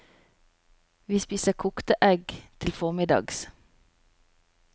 Vi spiser kokte egg til formiddags.